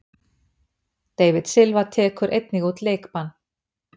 David Silva tekur einnig út leikbann.